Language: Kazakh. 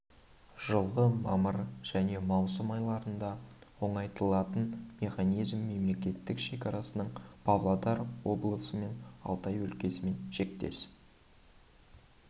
жылғы мамыр және маусым айларында оңайлатылған механизмін мемлекеттік шекарасының павлодар облысы мен алтай өлкесімен шектес